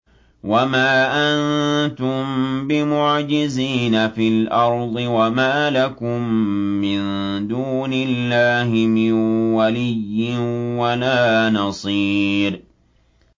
وَمَا أَنتُم بِمُعْجِزِينَ فِي الْأَرْضِ ۖ وَمَا لَكُم مِّن دُونِ اللَّهِ مِن وَلِيٍّ وَلَا نَصِيرٍ